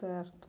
Certo.